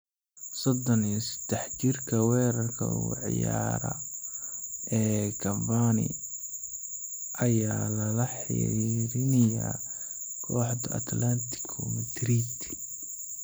Sodon iyo sedax jirka weerarka uga ciyaara ee Cavani ayaa lala xiriirinayaa kooxda Atletico Madrid.